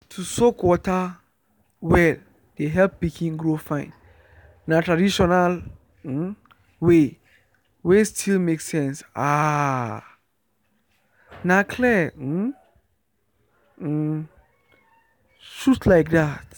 to soak water well dey help pikin grow fine. na traditional way wey still make sense… ah… na clear um um truth like that.